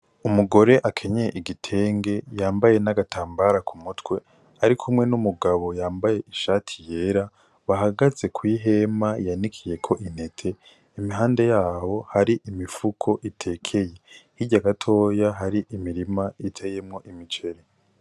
Umugore akenyeye igitenge yambaye n'agatambara ku mutwe arikumwe n'umugabo yambaye ishati yera bahagze kw'ihema yanikiyeko intete impande yaho hari imifuko itekeye hirya gatoya hari imirima iteyemwo imiceri.